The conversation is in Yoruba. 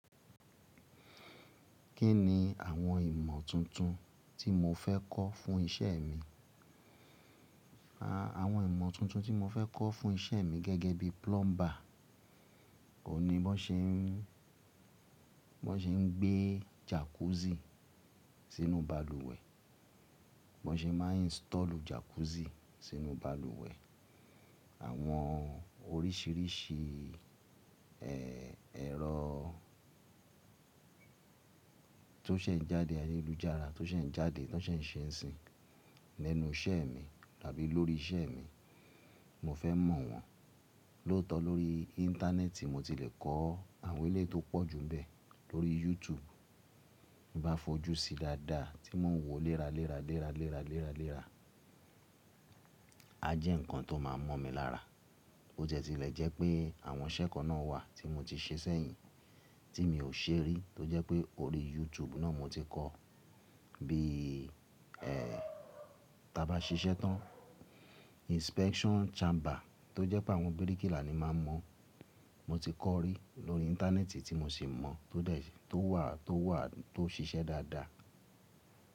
Kí ni àwọn ìmọ̀ tuntun tí mo fẹ́ kọ́ fún isẹ́ mi? Àwọn ìmọ̀ tuntun tí mo fẹ́ kọ́ fún isẹ́ mi gẹ́gẹ́ bí plumber, ò ní bọ́ ṣe ń, bọ́ ṣe ń gbé jacuzzi sínú balùwẹ̀, bọ́ ṣe máa ń install jacuzzi sínú balùwẹ̀. Àwọn oríṣìíríṣìí, ẹ́, ẹ̀rọ tó ṣe ń jáde ayélujára, tó ṣe ń jáde, tó ṣe ń ṣe ń sìn nínú isẹ́ mi àbí lórí isẹ́ mi, mo fẹ́ mọ̀ wọ́n. Lóòótọ́ lórí íńtánẹ́ẹ̀tì mo ti le kọ́ àwọn ìlẹ́ tó pọ̀ ju bẹ́ẹ̀. Lórí YouTube, bí bá fojú sí i dáadáa tí mo ń wò ó léra léra léra léra léra léra, a jẹ́ nǹkan tó máa mọ̀ mi lára. Ó jẹ́ tilẹ̀ jẹ́ pé àwọn isẹ́ kan náà wà tí mo ti ṣe sẹ́yìn tí mi ò ṣe rí, tó jẹ́ pé orí YouTube náà mo ti kọ́. Bíi, ẹ́, tí a bá ṣiṣẹ́ tán, inspection chamber tó jẹ́ pé àwọn bíríkìlà ni máa ń mọ̀, mo ti kọ́ rí lórí íńtánẹ́ẹ̀tì tí mo sì mọ̀, tó de, tó wà, tó wà tó ṣiṣẹ́ dáadáa.